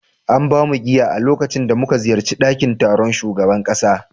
An ba mu giya a lokacin da muka ziyarci dakin taron shugaban kasa